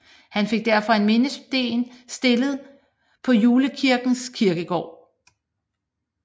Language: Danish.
Han fik derfor en mindesten stillet på Julekirkens kirkegård